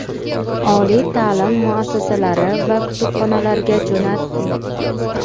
oliy ta’lim muassasalari va kutubxonalarga jo‘natdik.